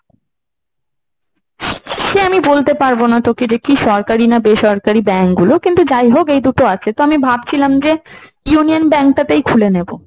সে আমি বলতে পারব না তোকে যে কি সরকারি না বেসরকারি bank গুলো। কিন্তু যাই হোক এই দুটো আছে। তো আমি ভাবছিলাম যে union bank টা তেই খুলে নেব।